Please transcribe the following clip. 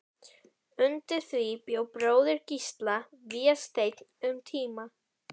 Undir því bjó bróðir Gísla, Vésteinn, um tíma.